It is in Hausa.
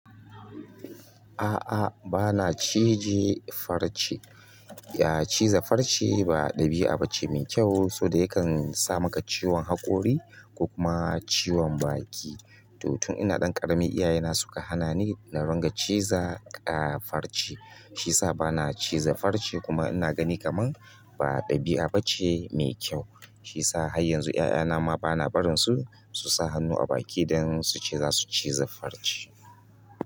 A'a, bana cije farce. Ya cize farce ba ɗabi'a ba ce mai kyau, saboda yakan sa maka ciwon haƙori ko kuma ciwon baki. To tun ina ɗan ƙarami, iyayena suka hana ni na runga ciza ah farce, shi yasa bana cize farce kuma ina gani kaman ba ɗabi'a ba ce mai kyau. Shi yasa har yanzu 'ya'yana ma bana barin su, su sa hannu a baki idan su ce za su cize farce.